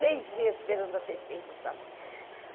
Seis meses esperando a Tetê e não sabia.